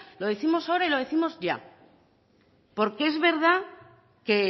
lo décimos ahora y lo décimos ya porque es verdad que